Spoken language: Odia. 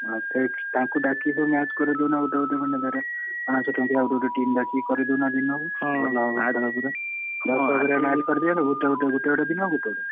ତାଙ୍କୁ ଡାକିକି ସବୁ match କରେଇ ଦଉନା ଗୋଟେ ଗୋଟେ ମାନେ ପାଂଶ ଟଙ୍କିଆ ଗୋଟେ ଗୋଟେ team ଡାକିକି କରେଇଦଉନା ଦିନକୁ ଭଲ ହବ ଖେଳ ପୁରା କରିଦିଅ ସବୁ ଗୋଟେ ଗୋଟେ ଦିନ ଗୋଟେ ଗୋଟେ।